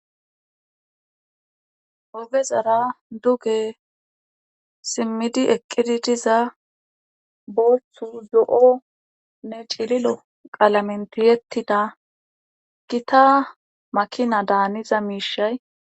oge zara duge simmidi eqqidi diza booththu zo7onne cililo qalamen tiyettida gita makina daaniza miishay